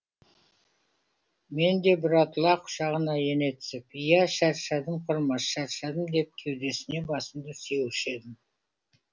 мен де бұратыла құшағына ене түсіп иә шаршадым құрмаш шаршадым деп кеудесіне басымды сүйеуші едім